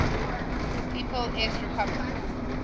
people s republic